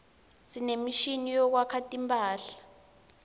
sinemishini yekuwasha timphadla